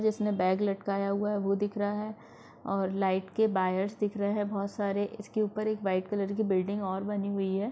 जिसने बैग लटकाया हुआ हैं वो दिख रहा है और लाइट के बायर्स दिख रहे हैं बहुत सारे इसके ऊपर एक व्हाइट कलर कि बिल्डिंग और बनी हुई हैं ।